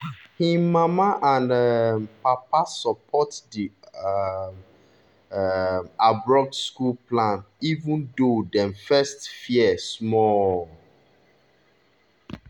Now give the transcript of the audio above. him mama and um papa support di um um abroad school plan even though dem first fear small.